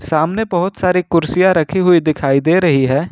सामने बहुत सारी कुर्सियां रखी हुई दिखाई दे रही है।